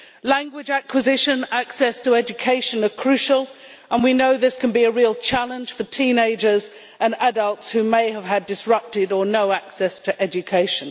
Language acquisition and access to education are crucial and we know this can be a real challenge for teenagers and adults who may have had disrupted, or no, access to education.